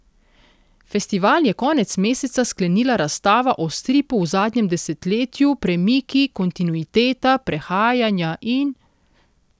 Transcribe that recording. Festival je konec meseca sklenila razstava o stripu v zadnjem desetletju Premiki, kontinuiteta, prehajanja in ...